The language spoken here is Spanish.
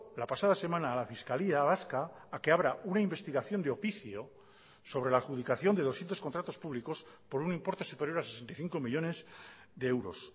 la pasada semana a la fiscalía vasca a que abra una investigación de oficio sobre la adjudicación de doscientos contratos públicos por un importe superior a sesenta y cinco millónes de euros